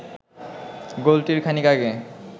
গোলটির খানিক আগে